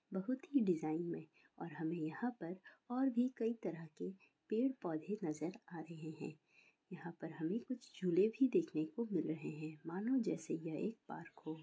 बहुत ही डिज़ाइन में और हमे यहाँ पर और भी कई तरह के पेड़- पौधे नज़र आ रहे हैं। यहाँ पर हमे कुछ झूले भी देखने को मिल रहे हैं मानो जैसे यह एक पार्क हो।